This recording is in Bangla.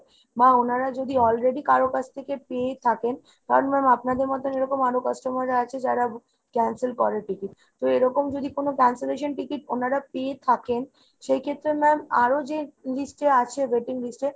বা ওনারা যদি already কারো কাছ থেকে পেয়ে থাকেন কারণ ma'am আপনাদের মতন এরকম আরো customer রা আছে যারা cancel করে ticket। তো এরকম যদি কোনো cancellation ticket ওনারা পেয়ে থাকেন সেইক্ষেত্রে ma'am আরো যে list এ আছে waiting list এ